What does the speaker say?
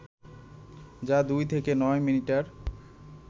যা দুই থেকে নয় মিটার